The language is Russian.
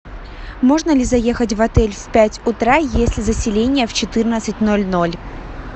можно ли заехать в отель в пять утра если заселение в четырнадцать ноль ноль